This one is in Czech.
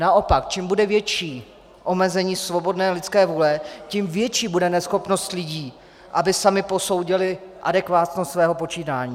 Naopak, čím bude větší omezení svobodné lidské vůle, tím větší bude neschopnost lidí, aby sami posoudili adekvátnost svého počínání.